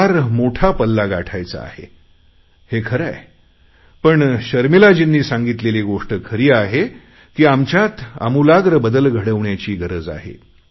फार मोठा पल्ला गाठायचा आहे हे खरे आहे पण शर्मिलाजींनी सांगितलेली गोष्ट खरी आहे की आमच्यात आमूलाग्र बदल घडवण्याची गरज आहे